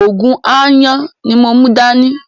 Ògùn aáyán ní mò mú dá ní